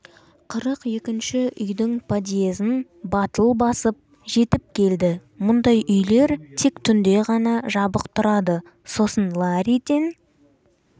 қырық екінші үйдің подъзін батыл басып жетіп келді мұндай үйлер тек түнде ғана жабық тұрады сосын ларриден